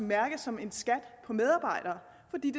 mærkes som en skat på medarbejdere fordi